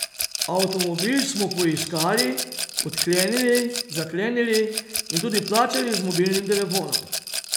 Avtomobil smo poiskali, odklenili, zaklenili in tudi plačali z mobilnim telefonom.